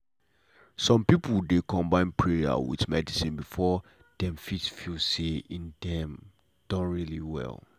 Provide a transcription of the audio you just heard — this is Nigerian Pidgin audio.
some people dey combine prayer with medicine before dem fit feel say en dem don really well.